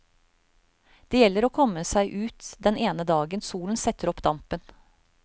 Det gjelder å komme seg ut den ene dagen solen setter opp dampen.